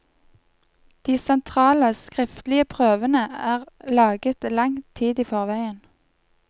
De sentrale, skriftlige prøvene er laget lang tid i forveien.